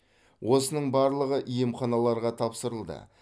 осының барлығы емханаларға тапсырылды